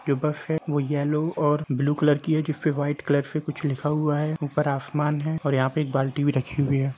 ये बस है वो येल्लो और ब्लू कलर की है जो व्हाइट कलर से कुछ लिखा हुवा है ऊपर आसमान है और यहाँ पे एक बाल्टी भी रखी हुई है।